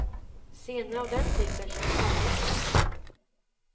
Scener av den typen känns alltid knepiga.